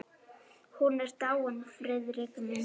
Hún er dáin, Friðrik minn.